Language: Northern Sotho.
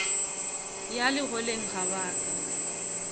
ya legoleng ga ba ka